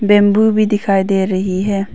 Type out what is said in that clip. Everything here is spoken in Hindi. बंबू भी दिखाई दे रही है।